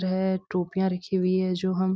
है टोपियां रखी हुई हैं जो हम --